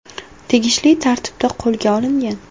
tegishli tartibda qo‘lga olingan.